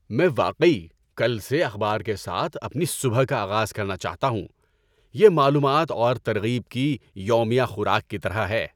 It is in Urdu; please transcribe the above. میں واقعی کل سے اخبار کے ساتھ اپنی صبح کا آغاز کرنا چاہتا ہوں۔ یہ معلومات اور ترغیب کی یومیہ خوراک کی طرح ہے۔